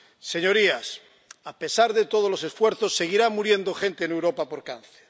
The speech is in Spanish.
Señorías, a pesar de todos los esfuerzos, seguirá muriendo gente en Europa por cáncer.